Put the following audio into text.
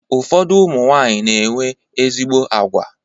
Ụfọdụ ụmụnwanyị na-enwe ezigbo agwa.